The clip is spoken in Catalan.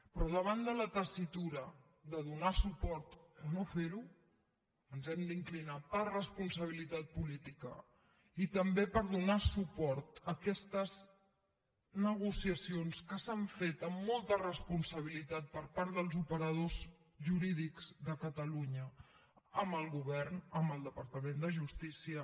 però davant de la tessitura de donar suport o no fer ho ens hem d’inclinar per responsabilitat política i també per donar suport a aquestes negociacions que s’han fet amb molta responsabilitat per part dels operadors jurídics de catalunya amb el govern amb el departament de justícia